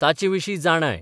ताचेविशीं जाणाय